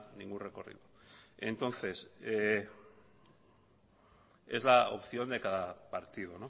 ningún recorrido entonces es la opción de cada partido